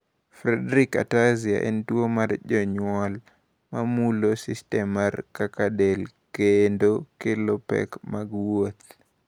Friedreich ataxia en tuwo mar jonyuol ma mulo sistem mar kaka del kendo kelo pek mag wuotho.